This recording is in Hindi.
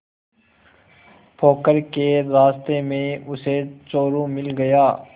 पोखर के रास्ते में उसे चोरु मिल गया